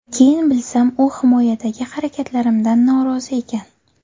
Keyin bilsam, u himoyadagi harakatlarimdan norozi ekan.